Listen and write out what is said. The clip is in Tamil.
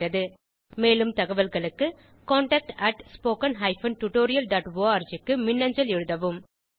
மேலும் தகவல்களுக்கு contactspoken tutorialorg க்கு மின்னஞ்சல் எழுதவும்